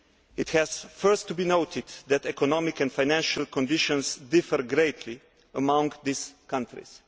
It has first to be noted that economic and financial conditions differ greatly among these countries.